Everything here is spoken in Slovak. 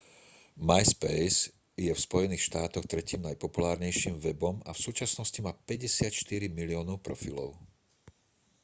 myspace je v spojených štátoch tretím najpopulárnejším webom a v súčasnosti má 54 miliónov profilov